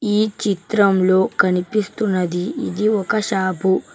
ఈ చిత్రం లో కనిపిస్తున్నది ఇది ఒక షాపు .